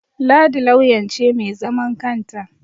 Ladi lauyan ce mai zaman kanta